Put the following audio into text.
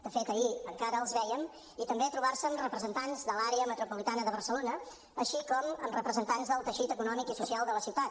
de fet ahir encara els vèiem i també trobar se amb representants de l’àrea metropolitana de barcelona així com amb representants del teixit econòmic i social de la ciutat